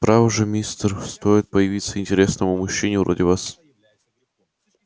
право же мистер охара стоит появиться интересному мужчине вроде вас как она тут же старается его у нас отбить